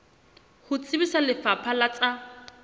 ho tsebisa lefapha la tsa